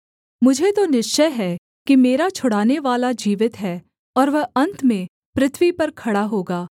मुझे तो निश्चय है कि मेरा छुड़ानेवाला जीवित है और वह अन्त में पृथ्वी पर खड़ा होगा